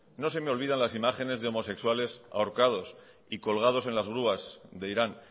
no se me olvidan las imágenes de homosexuales ahorcados y colgados en las grúas de irán